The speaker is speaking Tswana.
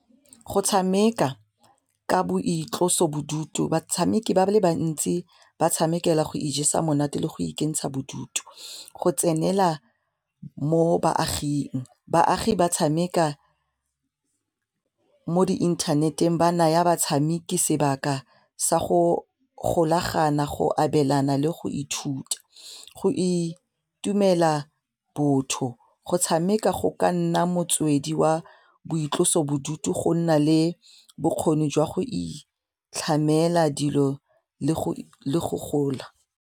Go tshameka ka boitlosobodutu batshameki ba le bantsi ba tshamekela go ijesa monate le go ikentsha bodutu go tsenela mo baagin. Baagi ba tshameka mo di inthaneteng ba naya batshameki sebaka sa go golagana go abelana le go ithuta go itumela botho, go tshameka go ka nna motswedi wa boitlosobodutu go nna le bokgoni jwa go itlhamela dilo le go gola.